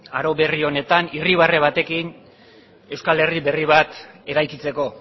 aro berri honetan irribarre batekin euskal herri berri bat eraikitzeko